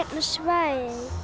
svæði